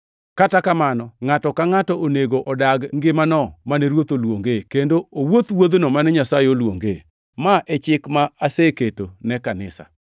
Kata kamano, ngʼato ka ngʼato onego odag ngimano mane Ruoth oluonge kendo owuoth wuodhno mane Nyasaye oluongee. Ma e chik ma aseketo ne kanisa.